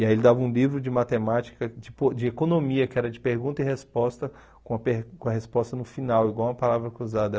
E aí ele dava um livro de matemática, de po de economia, que era de pergunta e resposta, com a per com a resposta no final, igual a palavra cruzada.